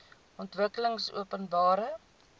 ontwikkelingopenbare